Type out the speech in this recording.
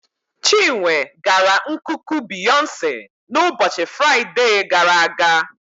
Chinwe gara nkuku Beyonce n'ụbọchị Fraịde gara aga.